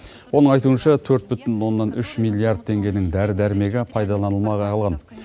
оның айтуынша төрт бүтін оннан үш миллиард теңгенің дәрі дәрмегі пайдаланылмай қалған